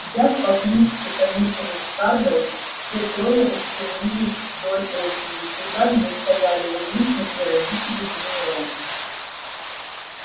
взяв по книжке каникулы с каргой все трое устремились вдоль очереди туда где стояли уизли и родители гермионы